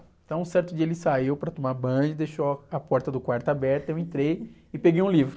Então, certo dia ele saiu para tomar banho, deixou a porta do quarto aberta, eu entrei e peguei um livro.